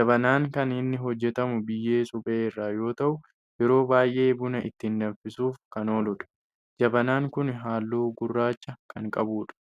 jabanaan kan inni hojjetamu biyyee suphee irraa yoo ta'u yeroo baayyee buna itti danfisuuf kan ooludha. jabanaan kun halluu gurraacha kan qabudha.